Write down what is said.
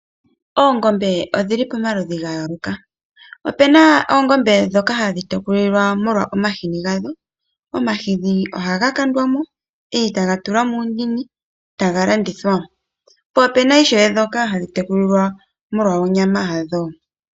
Oongombe odhili pomaludhi ga yooloka. Opuna oongombe ndhoka hadhi tekulwa molwa omahini. Omahini oha ga kandwa mo eta ga landithwa. Opuna oongombe ndhoka hadhi tekulwa molwa onyama yadho.